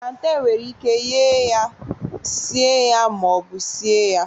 planten nwere ike sie ya, sie ya ma ọ bụ sie ya